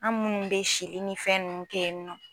An munnu bɛ sili ni fɛn nunnu kɛ yen nɔ.